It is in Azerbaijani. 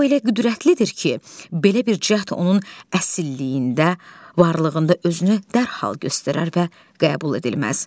O elə qüdrətlidir ki, belə bir cəhd onun əsilliyində, varlığında özünü dərhal göstərər və qəbul edilməz.